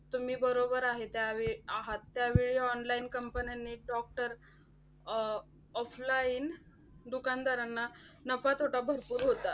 तुम्ही बरोबर आहेत त्यावेळी आहात. त्यावेळी online companies नी doctor अह offline दुकानदारांना नफातोटा भरपूर होता.